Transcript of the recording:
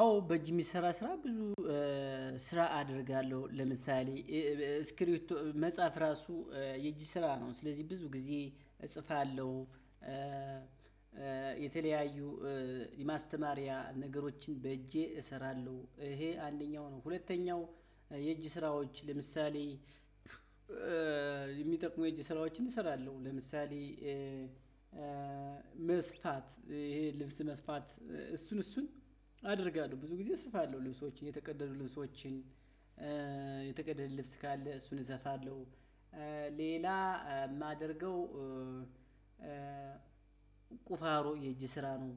አዎ በእጅ ስራ ስራ ብዙ ስራ አደርጋለሁ ለምሳሌ ስክሪፒቶ መጽሐፍ ራሱ የእጅ ስራ ነው ስለዚህ ብዙ ጊዜ እጽፋለሁ። የተለያዩ የማስተማሪያ ነገሮችን በእጄ እሰራለሁ። ይሄ አንደኛው ነው። ሁለተኛው የእጅ ስራዎች ለምሳሌ የሚጠቅሙ የእጅ ስራዎችን እሰራለሁ። ለምሳሌ መስፋት ልብስ መስፋት እሱን እሱን አደርጋለሁ። ብዙ ጊዜ እሰፋለሁ። ልብሶች የተቀደዱ ልብሶችን የተቀደደ ልብስ ካለ እሱን እሰፋለሁ። ሌላ ማደርገው። ቁፋሮ የእጅ ስራ ነው